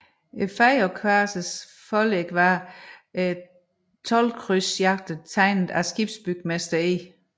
Fejøkvasernes forlæg var toldkrydsjagterne tegnet af skibsbygmester E